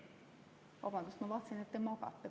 Vabandust, ma vaatasin, et te magate.